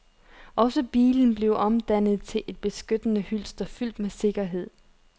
Også bilen bliver omdannet til et beskyttende hylster fyldt med sikkerhed.